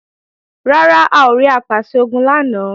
Rárá, a ò rí Apàṣẹ-Ogun lánàá